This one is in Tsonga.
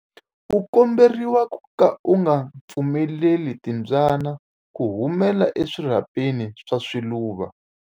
U komberiwa ku ka u nga pfumeleli timbyana ku humela eswirhapeni swa swiluva.